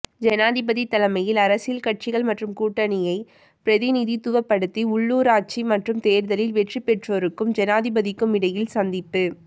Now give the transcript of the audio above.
ஜனாதிபதி தலைமையில் அரசியல் கட்சிகள் மற்றும் கூட்டணியை பிரதிநிதித்துவப்படுத்தி உள்ளூராட்சி மன்ற தேர்தலில் வெற்றிபெற்றோறுக்கும் ஜனாதிபதிக்குமிடையில் சந்திப்பு